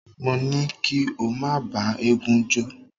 Mo ní kí o má bá eégún jó.